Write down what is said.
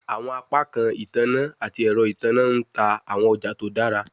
Awọn apakan itanna ati ẹrọ itanna n ta awọn ọja to dara